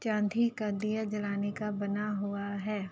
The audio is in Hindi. चांधी का दिया जलाने का बना हुआ है।